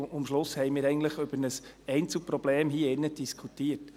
Am Schluss haben wir eigentlich hier drin über ein Einzelproblem diskutiert.